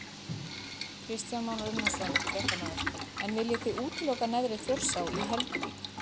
Kristján Már Unnarsson, fréttamaður: En viljið þið útiloka neðri Þjórsá í Helguvík?